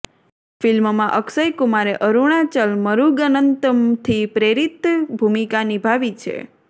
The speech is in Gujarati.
ફિલ્મમાં અક્ષય કુમારે અરૂણાચલ મુરૂગનંતમથી પ્રેરિત ભૂમિકા નિભાવી છે